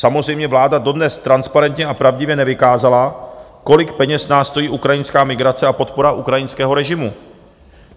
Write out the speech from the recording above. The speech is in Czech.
Samozřejmě vláda dodnes transparentně a pravdivě nevykázala, kolik peněz nás stojí ukrajinská migrace a podpora ukrajinského režimu.